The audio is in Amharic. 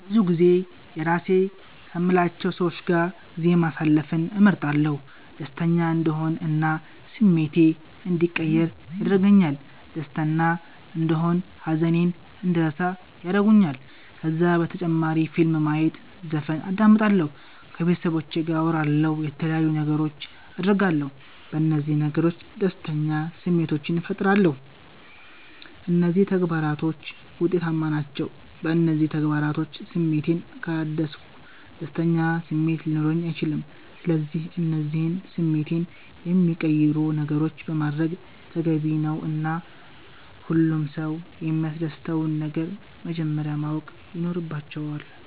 ብዙጊዜ የራሴ ከምላቸዉ ሰዎች ጋር ጊዜ ማሰለፍን እመርጣለሁ። ደሰተኛ እንድሆን እና ስሜቴ እንዲቀየር ያደርገኛል ደስተና እንደሆን ሃዘኔን እንድረሳ ያረጉኛል። ከዛ በተጨማሪ ፊልም ማየት ዘፈን አዳምጣለሁ። ከቤተሰቦቼ ጋር አወራለሁ የተለያዩ ነገሮች አደርጋለሁ። በነዚህ ነገሮች ደስተኛ ስሜቶችን ፈጥራለሁ። እነዚህ ተግባራቶች ዉጤታማ ናቸዉ። በእነዚህ ተግባራቶች ስሜቴን ካላደስኩ ደስተኛ ስሜት ሊኖረኝ አይችልም። ስለዚህ እነዚህን ስሜቴን የሚቀይሩ ነገሮችን ማድረግ ተገቢ ነዉ እና ሁሉም ሰዉ የሚያሰደስተዉን ነገር መጀመረያ ማወቅ ይኖረባቸዋል